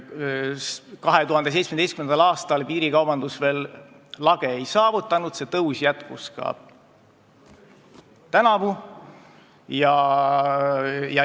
2017. aastal piirikaubandus veel lage ei saavutanud, see tõus jätkus ka tänavu.